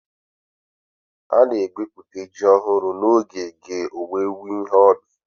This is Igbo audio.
Ana-egwute ji ọhụrụ n'oge ge owuwe ihe ubi.